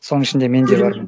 соның ішінде мен де бармын